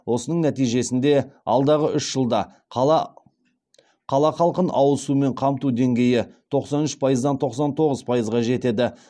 осының нәтижесінде алдағы үш жылда қала халқын ауыз сумен қамту деңгейі тоқсан үш пайыздан тоқсан тоғыз пайызға жетеді